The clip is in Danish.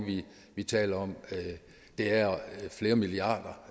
vi taler om det er flere milliarder